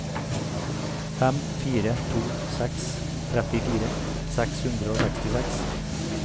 fem fire to seks trettifire seks hundre og sekstiseks